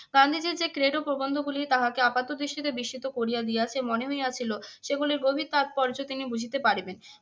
গান্ধীজীর যে ক্রেড প্রবন্ধ গুলি তাহাকে আপাতদৃষ্টিতে বিস্মিত করিয়া দিয়েছে মনে হইয়াছিল সেগুলির গভীর তাৎপর্য তিনি বুঝিতে পারিবেন।